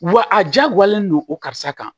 Wa a jagoyalen don o karisa kan